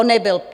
On nebyl?